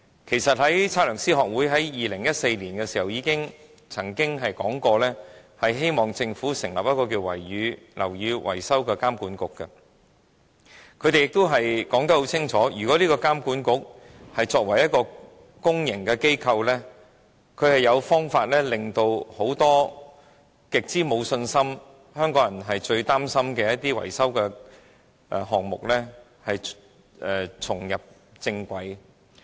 其實 ，2014 年香港測量師學會曾建議政府成立樓宇維修監管局，他們清楚指出，這個監管局作為一個公營機構，有辦法令很多香港人極之沒有信心、最擔心的維修項目重返正軌。